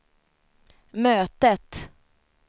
mötet